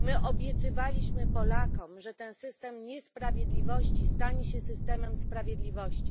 Obiecywaliśmy Polakom, że ten system niesprawiedliwości stanie się systemem sprawiedliwości.